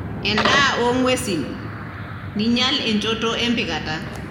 endaa ongwesin, ninyial enchoto empikata.